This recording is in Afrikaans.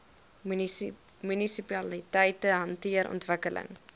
munisipaliteite hanteer ontwikkeling